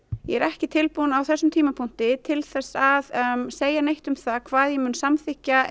ég er ekki tilbúin á þessum tímapunkti til að segja neitt um það hvað ég mun samþykkja